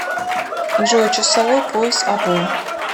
джой часовой пояс або